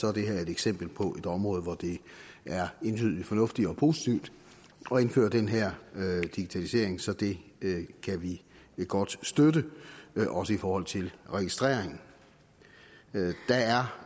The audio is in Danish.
er det her et eksempel på et område hvor det er entydigt fornuftigt og positivt at indføre den her digitalisering så det kan vi godt støtte også i forhold til registrering der er